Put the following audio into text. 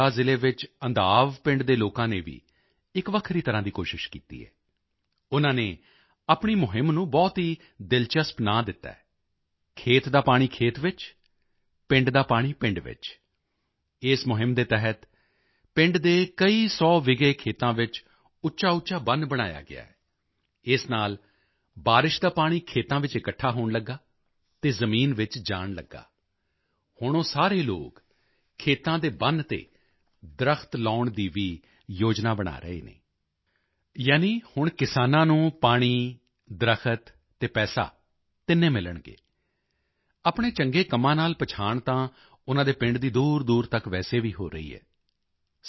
ਦੇ ਬਾਂਦਾ ਜ਼ਿਲ੍ਹੇ ਵਿੱਚ ਅੰਧਾਵ ਪਿੰਡ ਦੇ ਲੋਕਾਂ ਨੇ ਵੀ ਇਕ ਵੱਖਰੀ ਤਰ੍ਹਾਂ ਦੀ ਕੋਸ਼ਿਸ਼ ਕੀਤੀ ਹੈ ਉਨ੍ਹਾਂ ਨੇ ਆਪਣੀ ਮੁਹਿੰਮ ਨੂੰ ਬਹੁਤ ਹੀ ਦਿਲਚਸਪ ਨਾਂ ਦਿੱਤਾ ਹੈ ਖੇਤ ਦਾ ਪਾਣੀ ਖੇਤ ਵਿੱਚ ਪਿੰਡ ਦਾ ਪਾਣੀ ਪਿੰਡ ਵਿੱਚ ਇਸ ਮੁਹਿੰਮ ਦੇ ਤਹਿਤ ਪਿੰਡ ਦੇ ਕਈ ਸੌ ਵਿਗੇ ਖੇਤਾਂ ਵਿੱਚ ਉੱਚਾਉੱਚਾ ਬੰਨ੍ਹ ਬਣਾਇਆ ਗਿਆ ਹੈ ਇਸ ਨਾਲ ਬਾਰਿਸ਼ ਦਾ ਪਾਣੀ ਖੇਤਾਂ ਵਿੱਚ ਇਕੱਠਾ ਹੋਣ ਲੱਗਾ ਅਤੇ ਜ਼ਮੀਨ ਵਿੱਚ ਜਾਣ ਲੱਗਾ ਹੁਣ ਉਹ ਸਾਰੇ ਲੋਕ ਖੇਤਾਂ ਦੇ ਬੰਨ੍ਹ ਤੇ ਦਰਖਤ ਲਗਾਉਣ ਦੀ ਵੀ ਯੋਜਨਾ ਬਣਾ ਰਹੇ ਹਨ ਯਾਨੀ ਹੁਣ ਕਿਸਾਨਾਂ ਨੂੰ ਪਾਣੀ ਦਰਖਤ ਅਤੇ ਪੈਸਾ ਤਿੰਨੇ ਮਿਲਣਗੇ ਆਪਣੇ ਚੰਗੇ ਕੰਮਾਂ ਨਾਲ ਪਛਾਣ ਤਾਂ ਉਨ੍ਹਾਂ ਦੇ ਪਿੰਡ ਦੀ ਦੂਰਦੂਰ ਤੱਕ ਵੈਸੇ ਵੀ ਹੋ ਰਹੀ ਹੈ